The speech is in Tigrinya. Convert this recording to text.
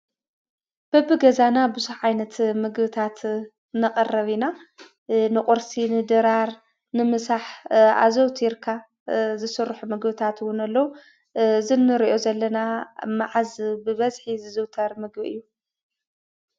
በቢ ገዛና ብዙሕ ዓይነት ምግብታት ነቅርብ ኢና። ንቁርሲ፣ ንድራር ፣ ንምሳሕ ኣዘውቲርካ ዝስርሑ ምግብታት እውን ኣለው። እዚ እንሪኦ ዘለና መዓዝ ብበዝሒ ዝዝውተር ምግቢ እዩ ?